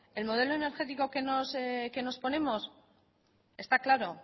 el modelo energético que nos ponemos está claro